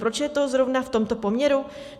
Proč je to zrovna v tomto poměru?